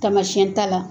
Tamasiɛn ta la